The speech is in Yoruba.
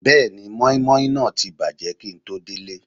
Bẹ́ẹ̀ni, mọ́ímọ́í náà ti bàjẹ́ kíi n tó délé